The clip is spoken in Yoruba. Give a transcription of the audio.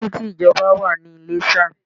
There is an express way in Ilesa